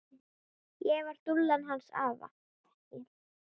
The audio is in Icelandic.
Ég var dúllan hans afa.